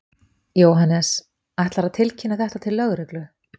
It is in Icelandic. Jóhannes: Ætlarðu að tilkynna þetta til lögreglu?